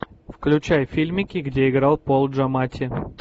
включай фильмики где играл пол джаматти